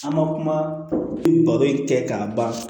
An ma kuma baro in kɛ k'a ban